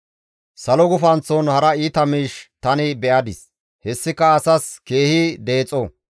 Salo gufanththon hara iita miish tani be7adis; hessika asas keehi deexo.